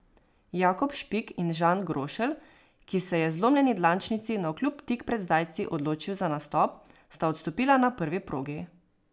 Jakob Špik in Žan Grošelj, ki se je zlomljeni dlančnici navkljub tik pred zdajci odločil za nastop, sta odstopila na prvi progi.